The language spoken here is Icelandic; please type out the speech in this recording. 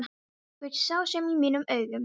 Þú ert sá sami í mínum augum.